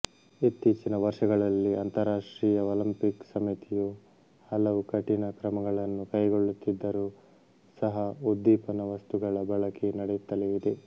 ಇತ್ತೀಚಿನ ವರ್ಷಗಳಲ್ಲಿ ಅಂತರರಾಷ್ಟ್ರೀಯ ಒಲಿಂಪಿಕ್ ಸಮಿತಿಯು ಹಲವು ಕಠಿಣ ಕ್ರಮಗಳನ್ನು ಕೈಗೊಳ್ಳುತ್ತಿದ್ದರೂ ಸಹ ಉದ್ದೀಪನವಸ್ತುಗಳ ಬಳಕೆ ನಡೆಯುತ್ತಲೇ ಇದೆ